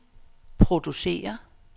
producere